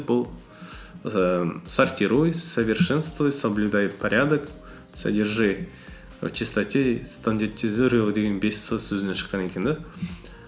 бұл ііі сортируй совершенствуй соблюдай порядок содержи в чистоте деген бес с сөзінен шыққан екен де